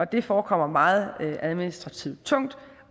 det forekommer meget administrativt tungt